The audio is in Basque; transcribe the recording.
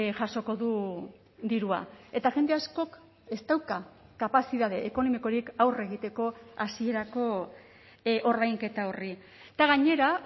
jasoko du dirua eta jende askok ez dauka kapazitate ekonomikorik aurre egiteko hasierako ordainketa horri eta gainera